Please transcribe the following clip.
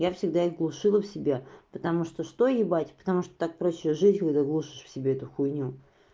я всегда их глушила в себя потому что что ебать потому что так проще жить когда глушишь в себе эту хуйню